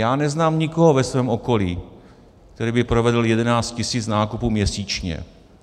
Já neznám nikoho ve svém okolí, který by provedl 11 tisíc nákupů měsíčně.